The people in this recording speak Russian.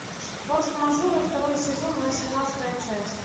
форс мажоры второй сезон восемнадцатая часть